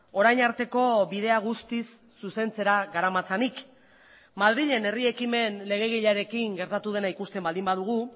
orain arteko bidea guztiz zuzentzera garamatzanik madrilen herri ekimen legegilearekin gertatu dena ikusten baldin badugu